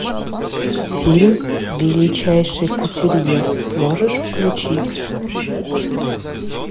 фильм величайший кутюрье можешь включить